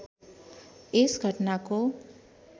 यस घटनाको